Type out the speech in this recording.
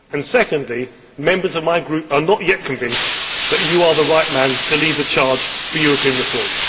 Secondly, members of my group are not yet convinced that you are the right man to lead the charge for European reform.